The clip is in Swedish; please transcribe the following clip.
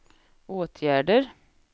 åtgärder